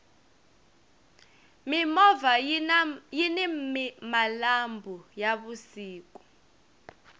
mimovha yini malambhu ya vusiku